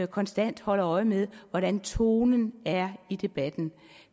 konstant holder øje med hvordan tonen er i debatten